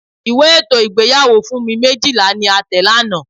Ìwé ètò ìgbéyàwó Funmi Méjìlá ni a tẹ̀ lánàá.